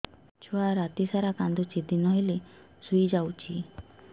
ଛୁଆ ରାତି ସାରା କାନ୍ଦୁଚି ଦିନ ହେଲେ ଶୁଇଯାଉଛି